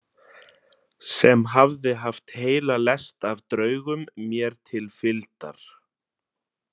Sem hafði haft heila lest af draugum mér til fylgdar.